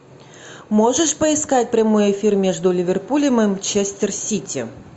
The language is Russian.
можешь поискать прямой эфир между ливерпулем и манчестер сити